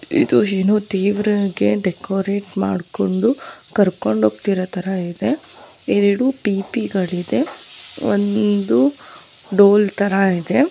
ಇದು ಏನು ದೇವರಿಗೆ ಡೆಕೋರೇಟ್ ಮಾಡಿಕೊಂಡು ಕರ್ಕೊಂಡು ಹೋಗ್ತಿರೋ ತರ ಇದೆ ಎರಡು ಪಿಪಿ ಇದೆ ಒಂದು ಡೋಲ್ ತರ ಇದೆ.